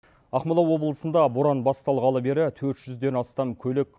ақмола облысында боран басталғалы бері төрт жүзден астам көлік